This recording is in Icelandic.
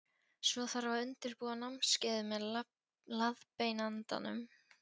Svo þarf að undirbúa námskeiðið með leiðbeinandanum.